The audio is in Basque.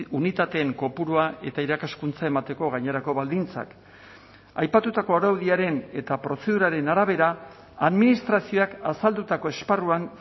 unitateen kopurua eta irakaskuntza emateko gainerako baldintzak aipatutako araudiaren eta prozeduraren arabera administrazioak azaldutako esparruan